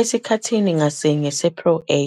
Esikhathini ngasinye se-Pro A,